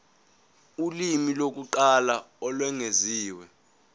ulimi lokuqala olwengeziwe